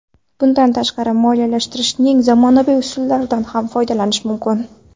Bundan tashqari, moliyalashtirishning zamonaviy usullaridan ham foydalanish mumkin.